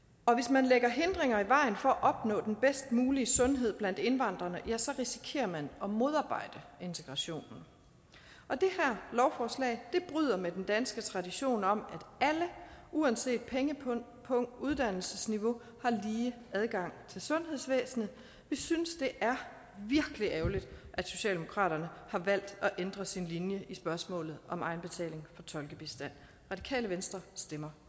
man lægger hindringer i vejen for at opnå den bedst mulige sundhed blandt indvandrerne ja så risikerer man at modarbejde integrationen og det her lovforslag bryder med den danske tradition om at alle uanset pengepung og uddannelsesniveau har lige adgang til sundhedsvæsenet vi synes det er virkelig ærgerligt at socialdemokraterne har valgt at ændre sin linje i spørgsmålet om egenbetaling for tolkebistand radikale venstre stemmer